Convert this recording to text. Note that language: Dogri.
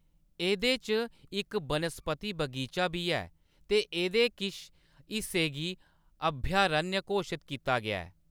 एह्‌‌‌दे च इक बनस्पति बगीचा बी ऐ ते एह्‌‌‌दे किश हिस्से गी अभयारण्य घोशत कीता गेआ ऐ।